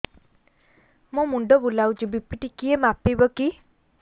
ମୋ ମୁଣ୍ଡ ବୁଲାଉଛି ବି.ପି ଟିକିଏ ମାପିବ କି